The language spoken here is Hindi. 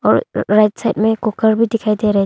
राइट साइड में कुकर भी दिखाई दे रहा--